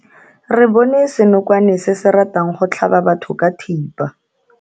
Re bone senokwane se se ratang go tlhaba batho ka thipa.